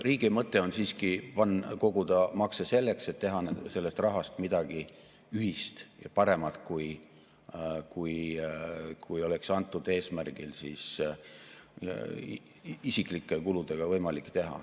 Riigi mõte on siiski koguda makse selleks, et teha selle rahaga midagi ühist ja paremat, kui oleks antud eesmärgil isiklike kuludega võimalik teha.